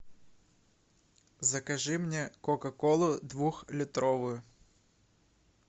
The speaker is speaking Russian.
закажи мне кока колу двухлитровую